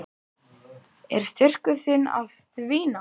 Er styrkur þinn að dvína?